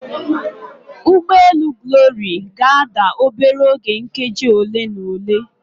Ụgbọ elu Glory ga-ada obere oge nkeji ole na ole.